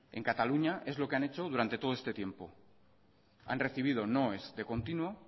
en cataluña es lo que han hecho durante todo este tiempo han recibido noes de continuo